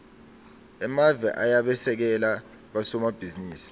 emave ayabasekela bosomabhizinisi